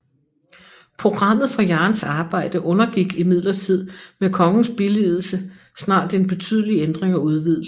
Programmet for Jahns arbejde undergik imidlertid med kongens billigelse snart en betydelig ændring og udvidelse